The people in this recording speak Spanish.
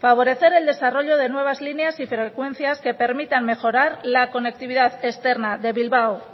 favorecer el desarrollo de nuevas líneas y frecuencias que permitan mejorar la conectividad externa de bilbao